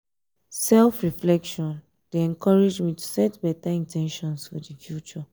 self-reflection dey encourage me to set better in ten tions for the future.